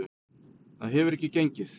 Það hefur ekki gengið.